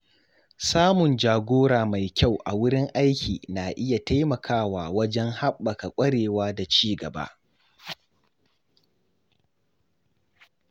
Samun jagora mai kyau a wurin aiki na iya taimakawa wajen haɓaka kwarewa da ci gaba.